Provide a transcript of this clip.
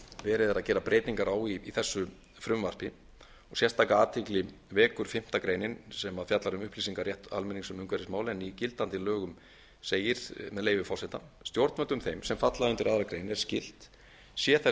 verið er að gera breytingar á í þessu frumvarpi sérstaka athygli vekur fimmta greinin sem fjallar um upplýsingarétt almennings um umhverfismál en í gildandi lögum segir með leyfi forseta stjórnvöldum þeim sem falla undir aðra grein er skylt sé þess